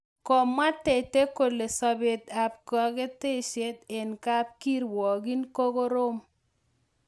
Kamwa Tete kole sabet ab kaketseet eng kap kirwakiin koroom